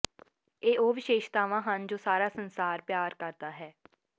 ਇਹ ਉਹ ਵਿਸ਼ੇਸ਼ਤਾਵਾਂ ਹਨ ਜੋ ਸਾਰਾ ਸੰਸਾਰ ਪਿਆਰ ਕਰਦਾ ਹੈ